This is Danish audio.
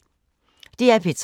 DR P3